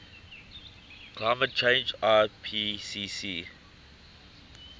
climate change ipcc